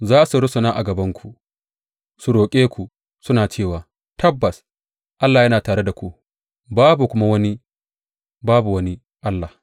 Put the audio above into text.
Za su rusuna a gabanku su roƙe ku, suna cewa, Tabbas Allah yana tare da ku, babu kuma wani; babu wani allah.’